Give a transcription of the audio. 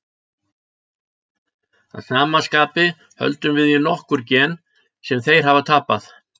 Að sama skapi höldum við í nokkur gen sem þeir hafa tapað.